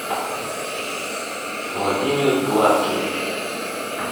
владимир гладкий